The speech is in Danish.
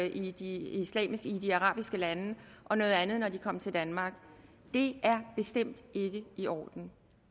i de de arabiske lande og noget andet når de kom til danmark det er bestemt ikke i orden